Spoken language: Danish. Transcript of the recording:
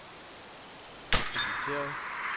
inviteret